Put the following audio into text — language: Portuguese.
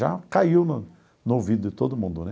Já caiu no no ouvido de todo mundo, né?